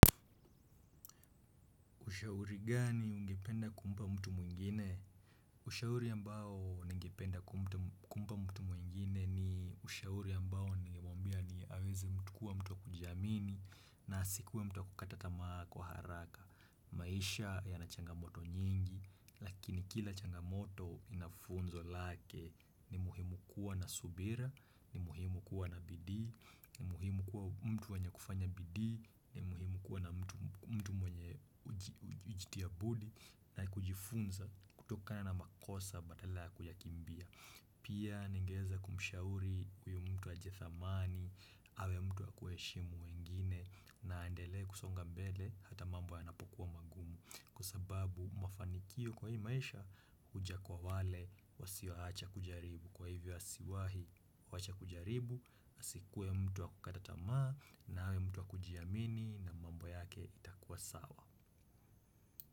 Ushauri gani ungependa kumpa mtu mwingine? Ushauri ambao ningependa kumpa mtu mwingine ni ushauri ambao ningemwambia ni aweze mtu kuwa mtu kujiamini na asikuwe mtu wa kukata tamaa kwa haraka. Maisha yana changamoto nyingi lakini kila changamoto inafunzo lake ni muhimu kuwa na subira, ni muhimu kuwa na bidii, ni muhimu kuwa mtu mwenye kufanya bidii, ni muhimu kuwa na mtu mtu mwenye kujitia budi na kujifunza kutokana makosa badala ya kuyakimbia. Pia ningeweza kumshauri huyu mtu ajithamani, awe mtu wa kuheshimu wengine na aendele kusonga mbele hata mambo yanapokuwa. Sababu mafanikio kwa hii maisha huja kwa wale wasio acha kujaribu. Kwa hivyo asiwahi kuwacha kujaribu, asikue mtu wa kukata tamaa na awe mtu wa kujiamini na mambo yake itakuwa sawa.